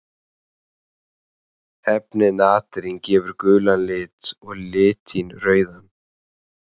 Efnið natrín gefur gulan lit og litín rauðan.